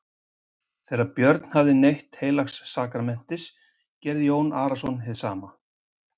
Þegar Björn hafði neytt heilags sakramentis gerði Jón Arason hið sama.